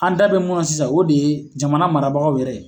An da be mun na sisan ,o de ye jamana mara bagaw yɛrɛ